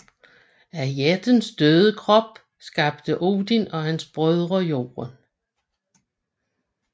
Af jættens døde krop skabte Odin og hans brødre Jorden